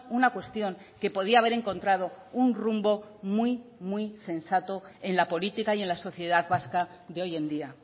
una cuestión que podía haber encontrado un rumbo muy muy sensato en la política y en la sociedad vasca de hoy en día